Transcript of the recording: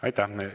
Aitäh!